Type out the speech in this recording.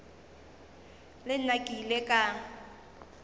le nna ke ile ka